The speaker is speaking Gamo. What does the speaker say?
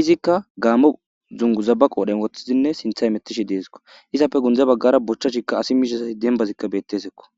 izikka gaammo zungu zabaqoodhen woththizinne sintha emetishi deesikko izappe gunde baggara bochchashikka asi miisha sayi dembazikka bettesakko.